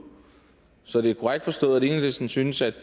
så er det korrekt forstået at enhedslisten synes at